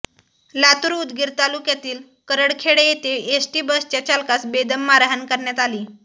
लातूर उदगीर तालुक्यातील करडखेड येथे एसटी बसच्या चालकास बेदम मारहाण करण्यात आली